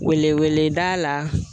Wele weleda la